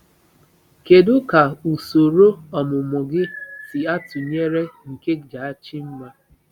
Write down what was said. Kedu ka usoro ọmụmụ gị si atụnyere nke Jachimma?